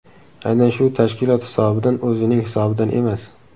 Aynan shu tashkilot hisobidan, o‘zining hisobidan emas .